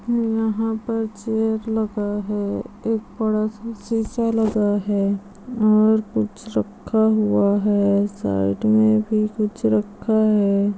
यंहा पर चेयर लगा है एक बड़ा सा शीसा लगा है और कुछ रखा हुआ है साइड मे भी कुछ रखा है ।